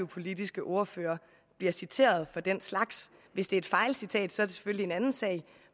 politiske ordfører bliver citeret for den slags hvis det er et fejlcitat selvfølgelig en anden sag